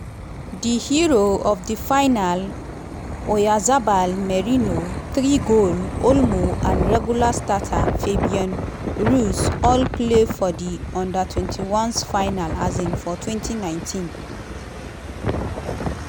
di hero of di final oyarzabal merino three-goal olmo and regular starter fabian ruiz all play for di u21s final um for 2019.